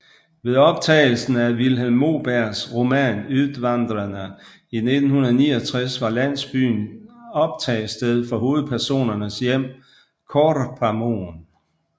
Ved optagelsen af Vilhelm Mobergs roman Utvandrarna i 1969 var landsbyen optagested for hovedpersonernes hjem Korpamoen